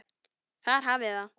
Þar hafiði það.